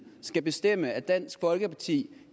skal bestemme at dansk folkeparti